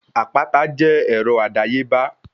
Àpáta jẹ́ ọrọ̀ àdáyébá